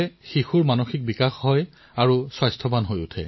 তেতিয়াহে শিশুটিৰ মানসিক বিকাশ হয় আৰু সুস্থ হয়